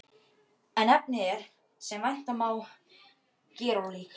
En efnið er, sem vænta má, gerólíkt.